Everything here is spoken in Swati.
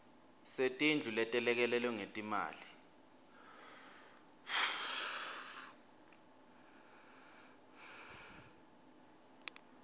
setindlu letelekelelwe ngetimali